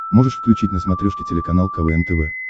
можешь включить на смотрешке телеканал квн тв